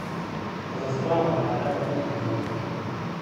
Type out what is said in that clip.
So za spravo, a le po njihovi meri.